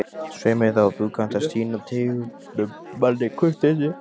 Svei mér þá, þú kannt að sýna tignum manni kurteisi